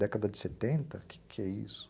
Década de setenta, que que isso?